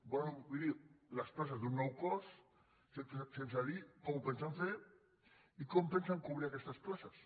volen cobrir les places d’un nou cos sense dir com ho pensen fer i com pen·sen cobrir aquestes places